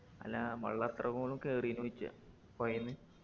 അല്ലാ വെള്ളം അത്രക്കോളും കേറീനോയ്ചെയാ പൊഴേന്ന്